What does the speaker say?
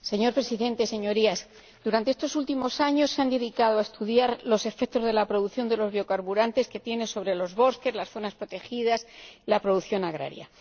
Señor Presidente, Señorías, estos últimos años se han dedicado a estudiar los efectos que la producción de biocarburantes tiene sobre los bosques, las zonas protegidas, la producción agraria.